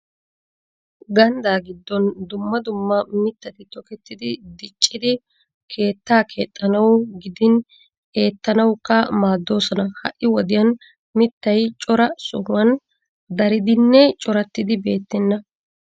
Ganddaa giddon dumma dumma mittati tokettidi diccidi keettaa keexxanawu gidin eettanawukka maaddoosona. Ha"i wodiyan mittay cora sohuwan daridinne corattidi beettenna.